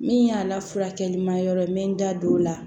Min y'a la furakɛlima yɔrɔ n bɛ n da don o la